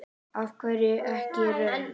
Af hverju ekki rautt?